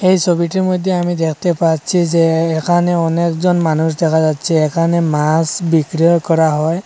এই ছবিটির মধ্যে আমি দেখতে পাচ্ছি যে এখানে অনেক জন মানুষ দেখা যাচ্ছে এখানে মাছ বিক্রিও করা হয়।